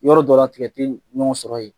Yɔrɔ dɔ la tigɛ tI ɲɔgɔn sɔrɔ yen.